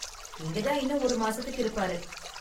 இங்க தான் இன்னும் ஒரு மாசத்துக்கு இருப்பாரு.